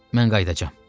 Mən qayıdacam.